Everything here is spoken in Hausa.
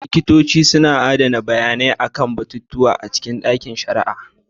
Likitoci suna adana bayanai kan batutuwa a cikin ɗakin shari'a.